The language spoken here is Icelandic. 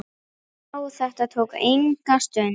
Já, þetta tók enga stund.